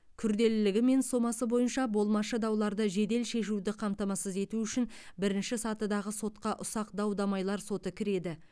күрделілігі мен сомасы бойынша болмашы дауларды жедел шешуді қамтамасыз ету үшін бірінші сатыдағы сотқа ұсақ дау дамайлар соты кіреді